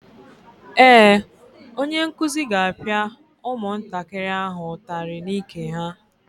Ee, onye nkuzi ga-apịa ụmụntakịrị ahụ ụtarị n'ike ha.